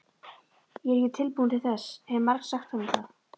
Ég er ekki tilbúin til þess, hef margsagt honum það.